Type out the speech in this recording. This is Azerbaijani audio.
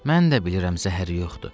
Mən də bilirəm zəhəri yoxdur.